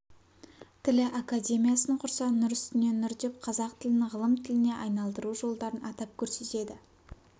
тілі академиясын құрса нұр үстіне нұр деп қазақ тілін ғылым тіліне айналдыру жолдарын атап көрсетеді